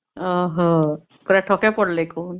ଓ ହୋ ପୁରା ଠକେ ପଡିଲେ କଣ?